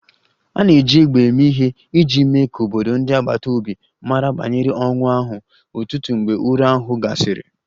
A na-eji égbè eme ihe iji mee ka obodo ndị agbata obi mara banyere ọnwụ ahụ, ụtụtụ mgbe ụra ahụ gasịrị